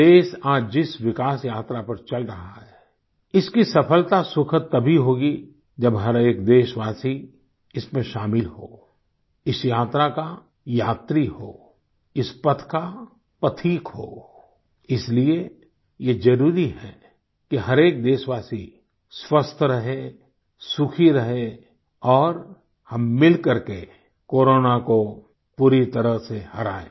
देश आज जिस विकास यात्रा पर चल रहा है इसकी सफलता सुखद तभी होगी जब हर एक देशवासी इसमें शामिल हो इस यात्रा का यात्री हो इस पथ का पथिक हो इसलिए ये जरूरी है कि हर एक देशवासी स्वस्थ रहे सुखी रहे और हम मिलकर के कोरोना को पूरी तरह से हराएं